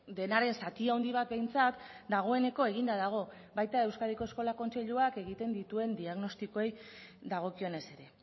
denaren zati handi bat behintzat dagoeneko eginda dago baita euskadiko eskola kontseiluak egiten dituen diagnostikoei dagokionez ere